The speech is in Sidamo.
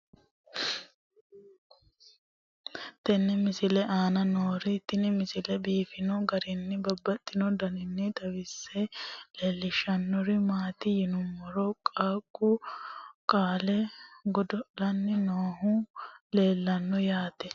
tenne misile aana noorina tini misile biiffanno garinni babaxxinno daniinni xawisse leelishanori isi maati yinummoro qaaqu qale godo'lanni noohu leelanno yaatte